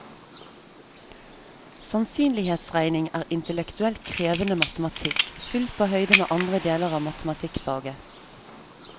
Sannsynlighetsregning er intellektuelt krevende matematikk, fullt på høyde med andre deler av matematikkfaget.